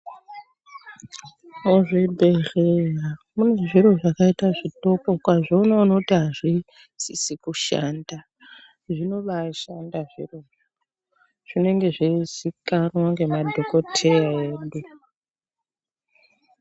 Muzvibhedhleya munezviro zvakaita zvitoko ukazviona unoti azvisizi kushanda zvinoba shanda zvirozvo zvinenge zveizikanwa nemadhokodheya edu.